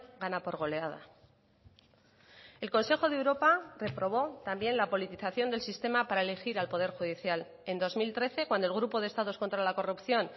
gana por goleada el consejo de europa reprobó también la politización del sistema para elegir al poder judicial en dos mil trece cuando el grupo de estados contra la corrupción